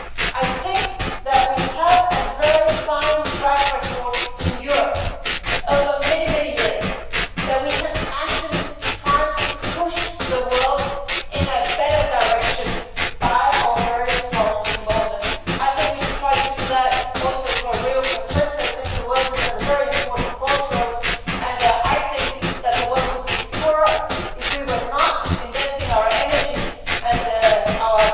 I think that we have a very fine track record in Europe over many years, that we can actually try to push the world in a better direction by our very strong involvement. I think we should try to do that also for Rio20. The world is at a very important crossroads and I think the world would be poorer if we were not investing our energy and